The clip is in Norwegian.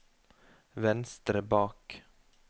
venstre bak